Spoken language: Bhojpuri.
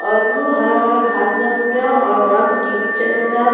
औरु हरा-हरा घास बा पुरा और बड़ा सा टी.वी. चलता।